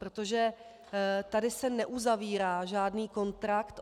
Protože tady se neuzavírá žádný kontrakt.